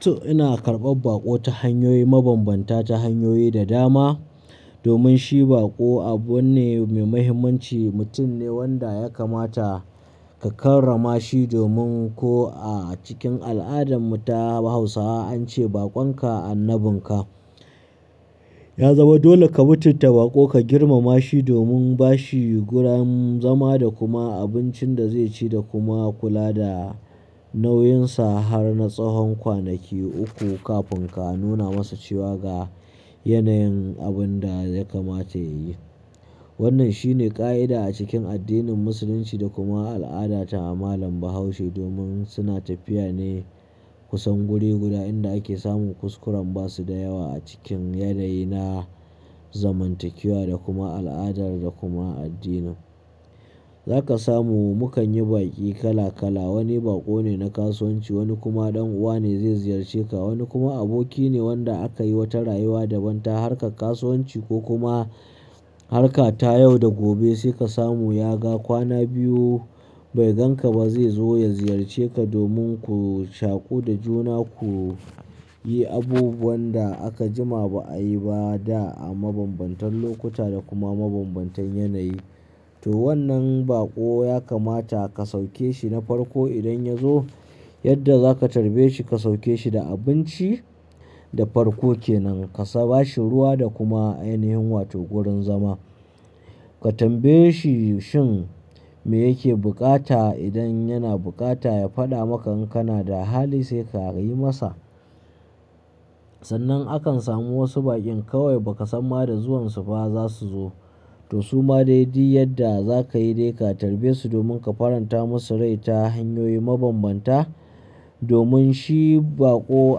To ina karɓar baƙo ta hanyoyi mabambanta ta hanyoyi da dama. Domin shi baƙo abu ne mai mahimmanci, mutum ne wanda ya kamata ka karrama shi domin ko a cikin al'adan mu ta Hausawa an ce, "Baƙon ka annabin ka." Ya zama dole ka mutanta bako ka girmama shi domin ba shi wurin zama da kuma abincin da zai ci da kuma kula da nauyinsa har na tsawon kwanaki uku kafin ka nuna masa cewa ga yanayin abun da ya kamata yayi. Wannan shine ƙa'ida a cikin addinin Musulunci da kuma al'ada ta malam Bahaushe domin suna tafiya ne kusan guri guda inda ake samun kuskuren ba su da yawa a cikin yanayi na zamantakewa da kuma al'ada da kuma addini. Za ka samu mu kan yi baƙi kala kala, wani baƙo ne na kasuwanci, wani kuma ɗan uwa ne zai ziyarce ka, wani kuma aboki ne wanda aka yi wata rayuwa daban ta harkar kasuwanci ko kuma harka ta yau da gobe sai ka samu ya ga kwana biyu bai gan ka ba zai zo ya ziyarce ka domin ku shaƙu da juna ku yi abubuwan da aka jima ba a yi ba da a mabambantan lokuta da kuma mabambantan yanayi. To wannan baƙo ya kamata ka sauke shi na farko idan ya zo yadda za ka tarbe shi ka sauke shi da abinci da farko kenan. Ka ba shi ruwa da kuma ainihin wato gurin zama. Ka tambaye shi shin me yake bukata idan yana bukata ya faɗa maka in kana da hali sai ka yi masa. Sannan akan samu wasu baƙin kawai ba ka san ma da zuwan su ba za su zo. To su ma dai duk yadda za ka yi dai ka tarbe su domin ka faranta musu rai ta hanyoyi mabambanta. Domin shi baƙo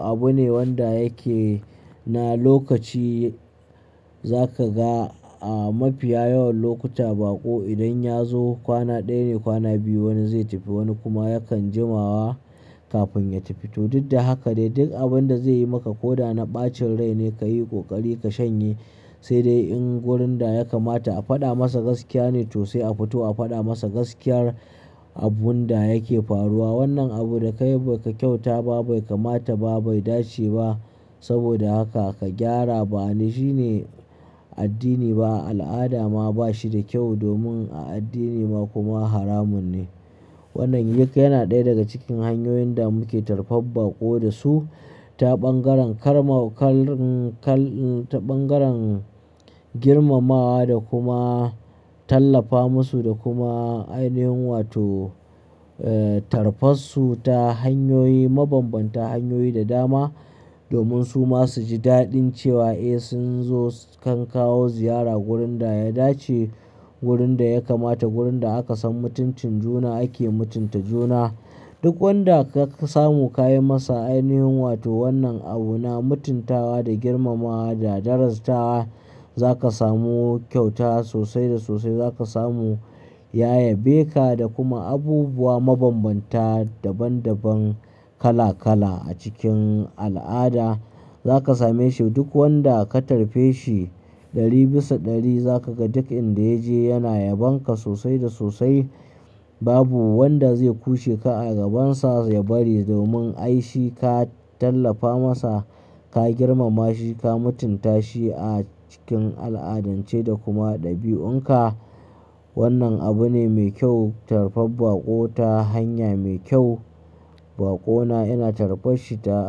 abu ne wanda yake na lokaci. Za ka ga a mafiya yawan lokuta baƙo idan ya zo kwana ɗaya ne kwana biyu wani zai tafi wani kuma yakan jimawa kafin ya tafi. To duk da haka dai duk abin da zai yi maka ko da na ɓacin rai ne ka yi ƙoƙari ka shanye. Sai dai in wurin da ya kamata a faɗa masa gaskiya ne to sai a fito a faɗa masa gaskiyar abun da yake faruwa. Wannan abu da ka yi baka kyauta ba, bai kamata ba, bai dace ba. Saboda haka ka gyara ba ni shi ne addini ba, al'ada ma ba shi da kyau domin a addini ma kuma haramun ne. Wannan yake yana ɗaya daga cikin hanyoyin da muke tarɓar baƙo da su. Ta ɓangaren karma-- kal, kal, ta ɓangaren girmamawa da kuma tallafa musu da kuma ainihin wato, eh, tarfassu ta hanyoyi mabambanta, hanyoyi da dama. Domin su ma su ji daɗin cewa eh sun zo kan kawo ziyara wurin da ya dace, gurin da ya kamata, gurin da aka san mutuncin juna ake mutunta juna. Duk wanda ka samu ka yi masa ainihin wato wannan abu na mutuntawa da girmamawa da daraja ta za ka samu kyauta sosai da sosai. Za ka samu ƴayabeka da kuma abubuwa mabambanta, daban daban, kala kala a cikin al'ada. Za ka same shi duk wanda ka tarbe shi ɗari bisa ɗari za ka ga duk inda ya je yana yabonka sosai da sosai. Babu wanda zai kushe ka a gabansa ya bari domin ai shi ka tallafa masa, ka girmama shi, ka mutunta shi a cikin al'adance da kuma ɗabi'un ka. Wannan abu ne mai kyau, tarbar ba ƙo ta hanya mai kyau. Baƙo na ina tarbas shi da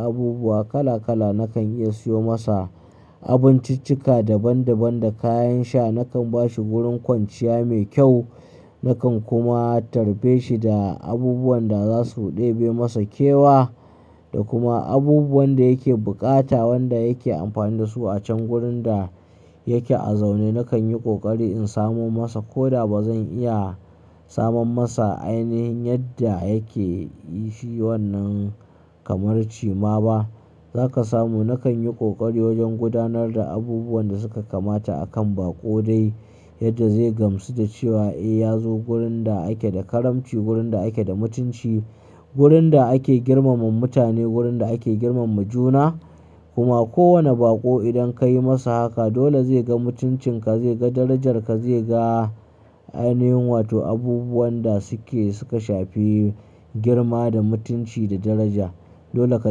abubuwa kala kala. Nakan iya siyo masa abinciccika daban daban da kayan sha. Nakan bashi gurin kwanciya mai kyau. Nakan kuma tarbe shi da abubuwan da za su ɗebe masa kewa da kuma abubuwan da yake bukata, wanda yake amfani da su a can wurin da yake a zaune. Nakan yi ƙoƙari in samo masa ko da ba zan iya samun masa ainihin yadda yake yi shi wannan kamar ci ma ba. Zaka samu nakan yi kokari wajen gudunar da abubuwan da suka kamata akan bako dai yadda zai gamsu da cewa eh ya zo wurin da ake da karamci, wurin da ake da mutunci, wurin da ake girmama mutane, wurin da ake girmama juna. Kuma kowane baƙo idan ka yi masa haka dole zai ga mutuncin ka, zai ga darajar ka, zai ga ainihin wato abubuwan da suke suka shafi girma da mutunci da daraja. Dole ka.